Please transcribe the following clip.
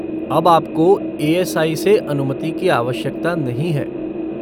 अब आपको ए.एस.आई. से अनुमति की आवश्यकता नहीं है।